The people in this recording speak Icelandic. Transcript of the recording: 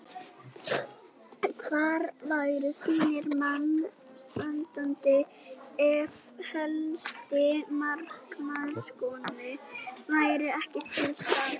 Hvar væru þínir menn staddir ef helsti markaskorarinn væri ekki til staðar?